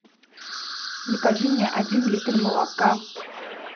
закажи мне один литр молока